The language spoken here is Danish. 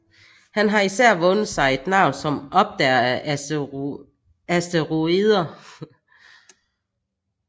Han har især vundet sig et navn som opdager af asteroider